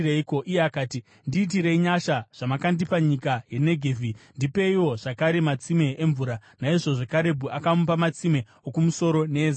Iye akati, “Ndiitirei nyasha. Zvamakandipa nyika yeNegevhi, ndipeiwo zvakare matsime emvura.” Naizvozvo Karebhu akamupa matsime okumusoro neezasi.